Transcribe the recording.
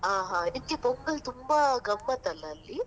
ಹಾ ಹಾ, ನಿಮ್ಗೆ pongal ತುಂಬಾ ಗಮ್ಮತ್ತಲ್ಲ ಅಲ್ಲಿ?